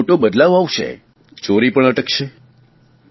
કેટલો મોટો બદલાવ આવશે ચોરી પણ અટકશે